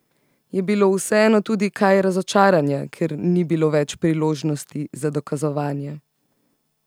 Je bilo vseeno tudi kaj razočaranja, ker ni bilo več priložnosti za dokazovanje?